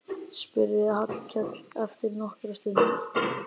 spurði Hallkell eftir nokkra stund.